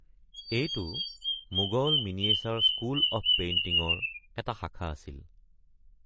এইটো Mughal miniature school of পেইণ্টিঙ-ৰ এটা শাখা আছিল।